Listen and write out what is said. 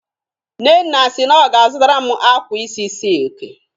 Nnenna si na ọ ga-azutaram akwa isi silki.